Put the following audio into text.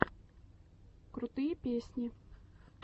крутые песни